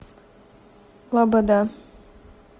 лобода